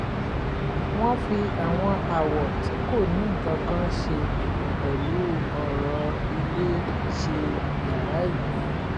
wọ́n fi àwọn àwọ̀ tí kò ní nǹkan kan ṣe pẹ̀lú ọ̀rọ̀ ilé ṣe yàrá ìgbẹ́